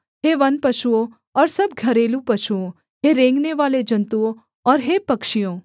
हे वनपशुओं और सब घरेलू पशुओं हे रेंगनेवाले जन्तुओं और हे पक्षियों